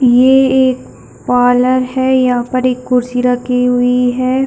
ये एक पार्लर है यहाँ पर एक कुर्सी रखी हुई है।